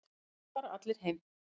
Þá fara allir heim.